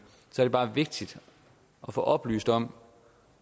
er det bare vigtigt at få oplyst om